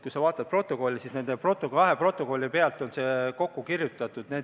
Kui sa vaatad protokolle, siis näed, et nende kahe protokolli põhjal on see kokku kirjutatud.